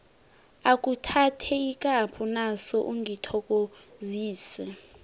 akhuthathe ikapho naso ungithokozise